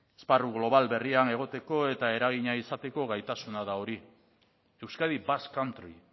esparru global berrian egoteko eta eragina izateko gaitasuna da hori euskadi basque country